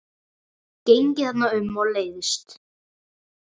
Gengið þarna um og leiðst.